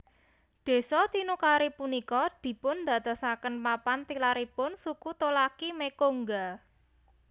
Desa Tinukari punika dipun dadosaken papan tilaripun suku Tolaki Mekongga